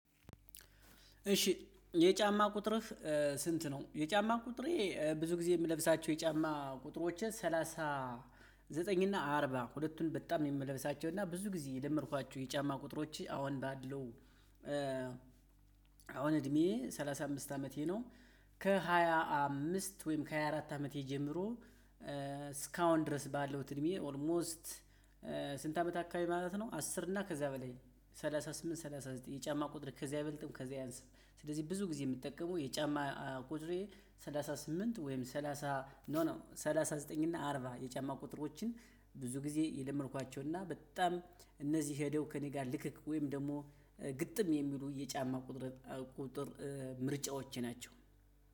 እሺ የጫማ ቁጥር ስንት ነው? የጫማ ቁጥሬ ብዙ ጊዜ የምለብሳቸው የጫማ ቁጥሮችን ሰላሳ ዘጠኝ እና አርባ ሁለቱን በጣም ነው የምለብሳቸው እና ብዙ ጊዜ የለመድኳቸው የጫማ ቁጥሮች አሁን ባለው አሁን እድሜ ሰላሳ አምስት አመቴ ነው። ከሃያ አምስት ወይም ከሃያ አራት አመቴ ጀምሮ ስካውን ድረስ ባለው እድሜ ኦልሞስት ስንት አመት አካባቢ ማለት ነው? አስር እና ከዛ በላይ ሰላሳ ስምንት ሰላሳ ዘጠኝ የጫማ ቁጥር ከዛ አይበልጥም ከዛ አያንስም። ስለዚህ ብዙ ጊዜ የምትጠቀመው የጫማ ቁጥሬ። ሰላሳ ስምንት ወይም ሰላሳ ኖ ኖ ሰላሳ ዘጠኝ እና አርባ የጫማ ቁጥሮችን ብዙ ጊዜ የለመድኳቸው እና በጣም እነዚህ ሄደው ከእኔ ጋር ልክክ ወይም ደግሞ ግጥም የሚሉ የጫማ ቁጥር ምርጫዎች ናቸው።